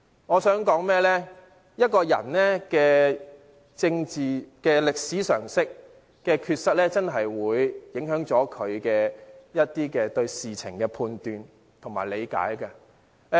我想說的是，一個人對政治歷史常識的缺失確實會影響他對事情的判斷和理解。